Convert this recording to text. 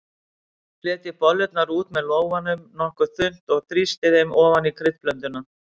Fletjið bollurnar út með lófanum nokkuð þunnt og þrýstið þeim ofan í kryddblönduna.